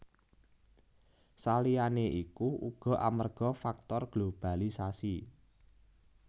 Saliyané iku uga amarga faktor globalisasi